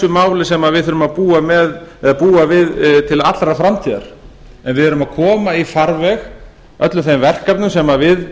máli sem við þurfum að búa við til allrar framtíðar en við erum að koma í farveg öllum þeim verkefnum sem við